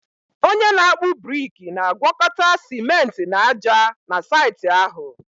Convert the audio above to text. onye na-akpụ brik na-agwakọta ciment na ájá na saịtị ahụ